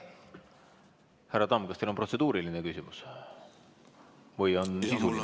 Härra Tamm, kas teil on protseduuriline küsimus või on sisuline küsimus?